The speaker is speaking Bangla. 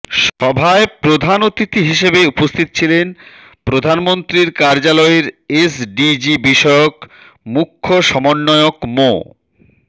সভায় প্রধান অতিথি হিসেবে উপস্থিত ছিলেন প্রধানমন্ত্রীর কার্যালয়ের এসডিজি বিষয়ক মুখ্য সমন্বয়ক মো